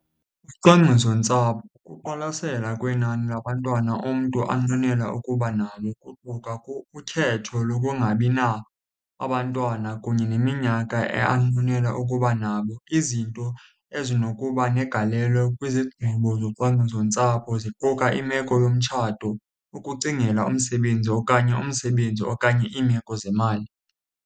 Ucwangcisontsapho kukuqwalasela kwenani labantwana umntu anqwenela ukuba nalo kuquka ukhetho lokungabi abantwana kunye neminyaka anqwenela ukuba nabo. Izinto ezinokuba negalelo kwizigqibo zocwangcisontsapho ziquka imeko yomtshato, ukucingela umsebenzi, okanye umsebenzi, okanye iimeko zemali.